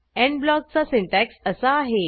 end ब्लॉकचा syntax असा आहे